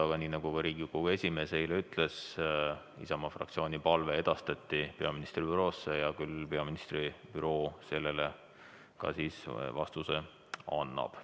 Aga nii nagu ka Riigikogu esimees eile ütles, Isamaa fraktsiooni palve edastati peaministri büroosse ja küll siis peaministri büroo sellele vastuse annab.